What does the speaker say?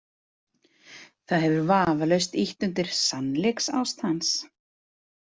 Það hefur vafalaust ýtt undir „sannleiksást“ hans.